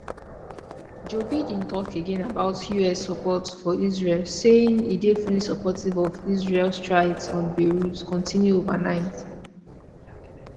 joe biden talk again about us support for israel saying e dey fully supportive of israel strikes on beirut continue overnight